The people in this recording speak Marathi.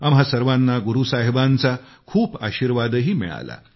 आम्हा सर्वांना गुरू साहिबांचा खूप आशीर्वादही मिळाला